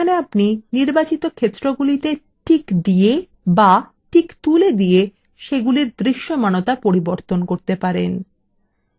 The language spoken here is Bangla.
এখানে আপনি নির্বাচিত ক্ষেত্রগুলিতে টিক দিয়ে বা টিক তুলে দিয়ে সেগুলির দৃশ্যমানতা পরিবর্তন করতে পারেন